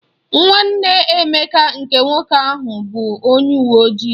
Nwanne Emeka nke nwoke bụ onye uwe ojii.